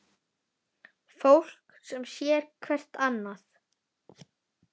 Fólk sem sér hvert annað.